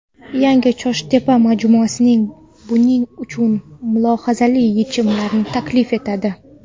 Yangi ChoshTepa majmuasi buning uchun mulohazali yechimlarni taklif etadi.